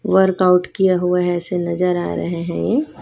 Workout किया हुआ है ऐसे नजर आ रहे हैं ये।